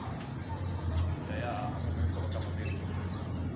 E aí a a sua mãe não colocava medo em vocês, não?